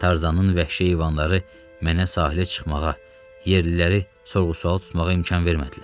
Tarzanın vəhşi heyvanları mənə sahilə çıxmağa, yerliləri sorğu-sual tutmağa imkan vermədilər.